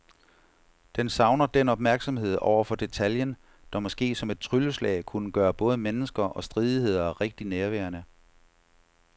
Den savner den opmærksomhed over for detaljen, der måske som et trylleslag kunne gøre både mennesker og stridigheder rigtig nærværende.